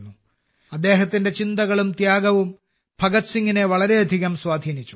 അദ്ദേഹത്തിന്റെ ചിന്തകളും ത്യാഗവും ഭഗത് സിംഗിനെ വളരെയധികം സ്വാധീനിച്ചു